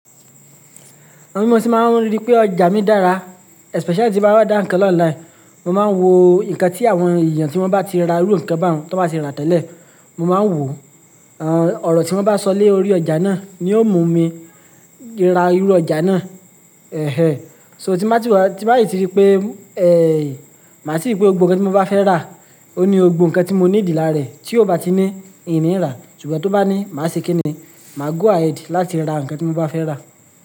Àwọn ohun tí mo ti máa ń rí pé ọjà mi dára especially tí mo bá order ńkan lọ online. Mo máa ń wo nǹkan tí àwọn èèyàn tí wọ́n bá ti ra irú ńkan bá wọn ti won bá ti rà tẹ́lẹ̀. Mo máa ń wò ọ̀rọ̀ tí wọ́n bá sọ lé orí ọjà náà ni ó mú mi ra irú ọjà náà. Ẹ̀hẹ̀ẹ́. So tí bá ti wà, tí bá si tí rí pé, ẹ́ẹ́, màá si rí pé gbogbo ǹkan tí mo bá fẹ́ rà, ó ní gbogbo ǹkan tí mo need lára rẹ̀ tí ó bá ti ní ìní rá, ṣùgbọ́n tó bá ní má ṣe kí ni, màá go ahead láti ra ǹkan tí mo bá fẹ́ rà.